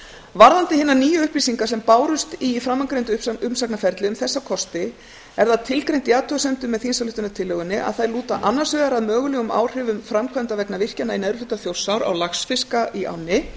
varðandi hinar nýju upplýsingar sem bárust í framangreindu umsagnarferli um þessa virkjunarkosti er það tilgreint í athugasemdum með þingsályktunartillögunni að þær lúta annars vegar að mögulegum áhrifum framkvæmda vegna virkjana í neðri hluta þjórsár á laxfiska í ánni